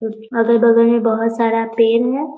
कुछ अगल-बगल में बहोत सारा पेड़ है।